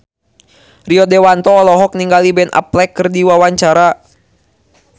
Rio Dewanto olohok ningali Ben Affleck keur diwawancara